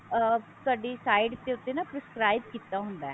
ਅਹ ਤੁਹਾਡੀ sight ਦੇ ਉੱਤੇ ਨਾ describe ਕੀਤਾ ਹੁੰਦਾ